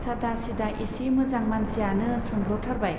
सादा सिदा एसे मोजां मानसियानो सोम्ब्रथारबाय।